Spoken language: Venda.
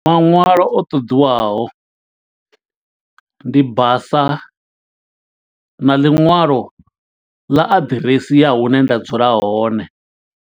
Maṅwalo o ṱoḓiwaho, ndi basa na ḽiṅwalo ḽa aḓiresi ya hune nda dzula hone.